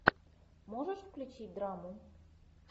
можешь включить драму